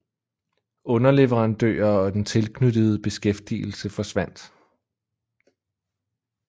Underleverandører og den tilknyttede beskæftigelse forsvandt